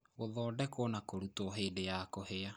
Gũthondekwo na kũrutwo hĩndĩ ya kũhĩa